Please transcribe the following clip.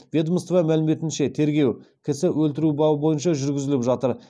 ведомство мәліметінше тергеу кісі өлтіру бабы бойынша жүргізіліп жатыр